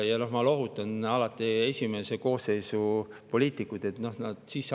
Ja ma lohutan alati poliitikuid, kes on siin esimest koosseisu.